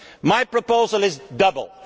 My proposal is double.